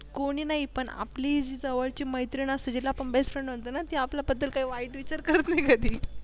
कोणी नाही पण आपली जवळची मैत्रीण असते तिला पण Bestfriend म्हणतो ना ती आपल्याबद्दल काही वाईट विचार करत नाही कधी.